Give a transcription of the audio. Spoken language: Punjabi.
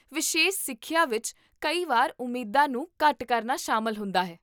ਵਿਸ਼ੇਸ਼ ਸਿੱਖਿਆ ਵਿੱਚ ਕਈ ਵਾਰ ਉਮੀਦਾਂ ਨੂੰ ਘੱਟ ਕਰਨਾ ਸ਼ਾਮਲ ਹੁੰਦਾ ਹੈ